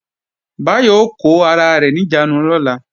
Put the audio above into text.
Báyọ̀ ó kó ara rẹ̀ níjàánu lọ́la